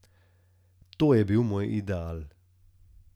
To je bil moj ideal.